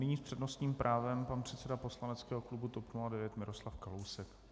Nyní s přednostním právem pan předseda poslaneckého klubu TOP 09 Miroslav Kalousek.